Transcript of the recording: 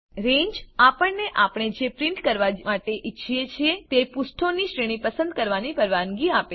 રંગે આપણને આપણે જે પ્રીંટ કરવા માટે ઈચ્છીએ છીએ તે પુષ્ઠોની શ્રેણી પસંદ કરવાની પરવાનગી આપે છે